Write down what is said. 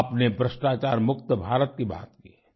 आपने भ्रष्टाचार मुक्त भारत की बात की